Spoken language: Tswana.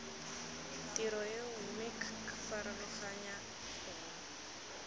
tiro eo mme ccfarologanya gongwe